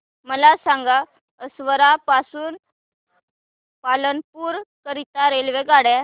मला सांगा असरवा पासून पालनपुर करीता रेल्वेगाड्या